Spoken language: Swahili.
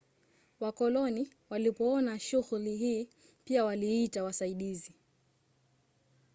wakoloni walipoona shughuli hii pia waliita wasaidizi